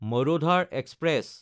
Marudhar express